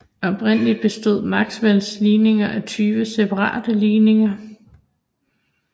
Oprindeligt bestod Maxwells ligninger af tyve separate ligninger